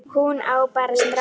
Hún á bara stráka.